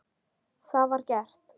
Það var gert.